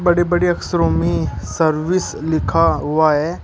बड़े बड़े अक्षरों में सर्विस लिखा हुआ है।